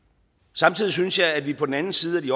samtidig synes jeg at vi på den anden side af de